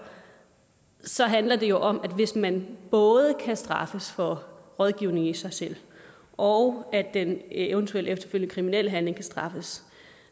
så handler det jo om at hvis man både kan straffes for rådgivningen i sig selv og den eventuelle efterfølgende kriminel handling kan straffes